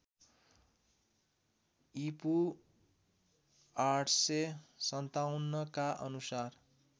ईपू ८५७ का अनुसार